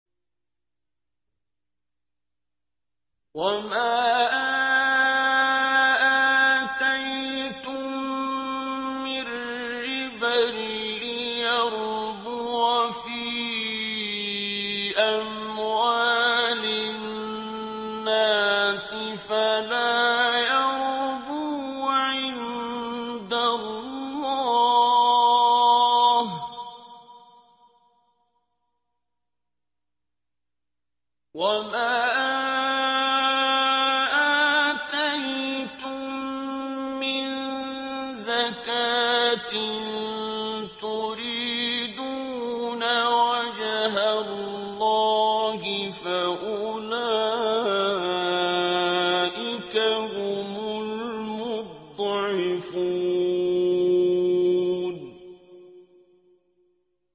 وَمَا آتَيْتُم مِّن رِّبًا لِّيَرْبُوَ فِي أَمْوَالِ النَّاسِ فَلَا يَرْبُو عِندَ اللَّهِ ۖ وَمَا آتَيْتُم مِّن زَكَاةٍ تُرِيدُونَ وَجْهَ اللَّهِ فَأُولَٰئِكَ هُمُ الْمُضْعِفُونَ